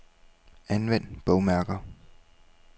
Anvend bogmærker.